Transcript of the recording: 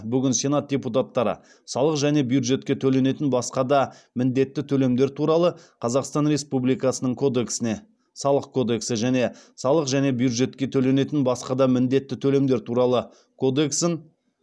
бүгін сенат депутаттары салық және бюджетке төленетін басқа да міндетті төлемдер туралы қазақстан республикасының кодексіне және салық және бюджетке төленетін басқа да міндетті төлемдер туралы кодексін